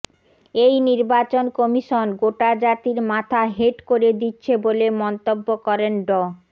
এই নির্বাচন কশিমন গোটা জাতির মাথা হেঁট করে দিচ্ছে বলে মন্তব্য করেন ড